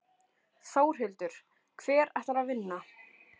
Þórhildur: Hver ætlar að vinna?